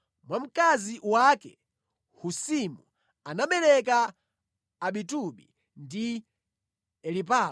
Mwa mkazi wake Husimu anabereka Abitubi ndi Elipaala.